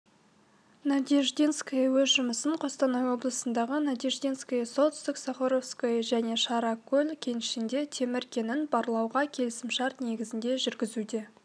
надеждинское өз жұмысын қостанай облысындағы надеждинское солтүстік-сахаровское және шаракөл кеніштерінде темір кенін барлауға келісімшарт негізінде жүргізуде